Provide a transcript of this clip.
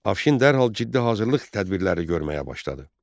Afşin dərhal ciddi hazırlıq tədbirləri görməyə başladı.